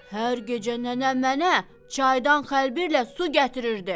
Hər gecə nənəm mənə çaydan xəlbirlə su gətirirdi.